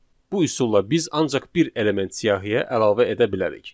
Bu üsulla biz ancaq bir element siyahıya əlavə edə bilərik.